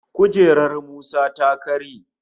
Kujerar Musa ta karye